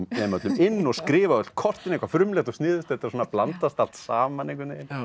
öllum inn og skrifa á öll kortin eitthvað frumlegt og sniðugt þetta svona blandast allt saman einhvern veginn